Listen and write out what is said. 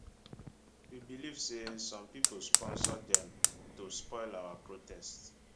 we believe say some pipo sponsor dem to spoil our protest